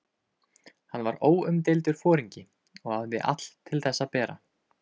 Hann var óumdeildur foringi og hafði allt til þess að bera.